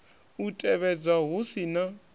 u tevhedzwa hu si na